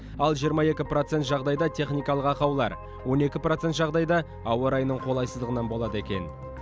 ал жиырма екі процент жағдайда техникалық ақаулар он екі процент жағдайда ауа райының қолайсыздығынан болады екен